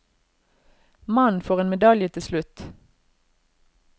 Mannen får en medalje til slutt.